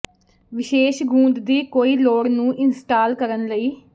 ਵਿਸ਼ੇਸ਼ ਗੂੰਦ ਦੀ ਕੋਈ ਲੋੜ ਨੂੰ ਇੰਸਟਾਲ ਕਰਨ ਲਈ